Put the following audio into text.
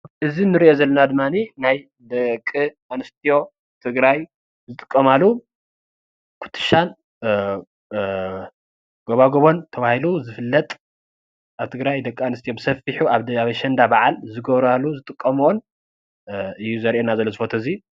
እዚ እንሪኦ ዘለና ድማ ናይ ደቂ ኣንስትዮ ትግራይ ዝጥቀማሉ ኩትሻን ጎባጉብን ተባሂሉ ዝፍለጥ ኣብ ትግራይ ደቂ ኣንስትዮ ብሰፊሑ ኣብ ኣሸንዳ በዓል ዝገብርኦን ዝጥቀምኦን እዩ ዘርእየና ዘሎ እዚ ፎቶ እዙይ፡፡